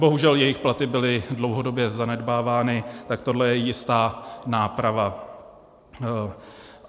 Bohužel jejich platy byly dlouhodobě zanedbávány, tak tohle je jistá náprava.